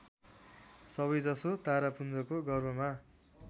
सबैजसो तारापुञ्जको गर्भमा